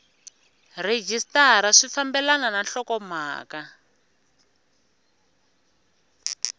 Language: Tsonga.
rhejisitara swi fambelana na nhlokomhaka